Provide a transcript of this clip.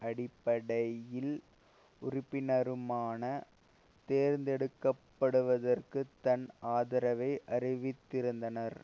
அடிப்படையில் உறுப்பினருமான தேர்ந்தெடுக்க படுவதற்கு தன் ஆதரவை அறிவித்திருந்தனர்